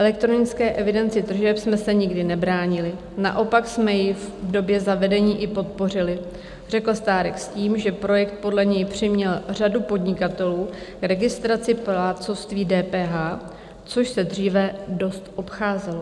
"Elektronické evidenci tržeb jsme se nikdy nebránili, naopak jsme ji v době zavedení i podpořili," řekl Stárek s tím, že projekt podle něj přiměl řadu podnikatelů k registraci plátcovství DPH, což se dříve dost obcházelo.